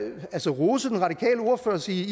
rose den radikale ordfører og sige